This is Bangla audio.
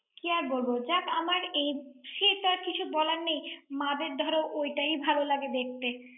কি আর বলব, যাক আমার এই সে তো আর কিছু বলার নেই। মা-দের ধরো ওইটাই ভাল লাগে দেখতে।